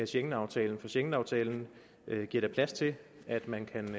schengenaftalen for schengenaftalen giver da plads til at man kan